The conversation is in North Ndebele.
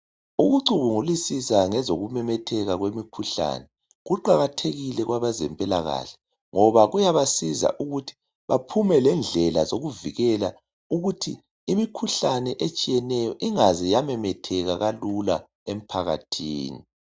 Ukucubungulisisa ngezokumemetheka kwemikhuhlane kuqakathekile kwabezempilakahle ngoba kuyabasiza ukuthi baphume lendlela zokuvikela ukuthi imikhuhlane etshiyeneyo ingaze yamemetheka kalula emphakathini.